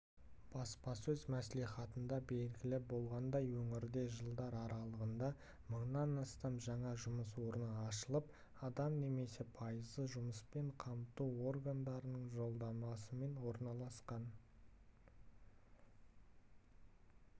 баспасөз мәслихатында белгілі болғандай өңірде жылдар аралығында мыңнан астам жаңа жұмыс орны ашылып адам немесе пайызы жұмыспен қамту органдарының жолдамасымен орналасқан